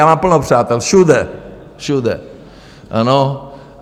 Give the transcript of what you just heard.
já mám plno přátel všude, všude, ano?